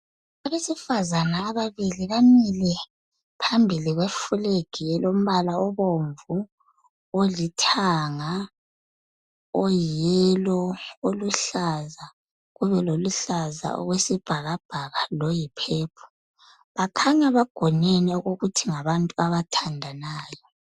Abesifazana ababili bamile phambili kweflag elombala obomvu olithanga oyiyellow oluhlaza loluhlaza okwesibhakabhaka bakhanya bagonene okokuthi ngabantu abathandanayo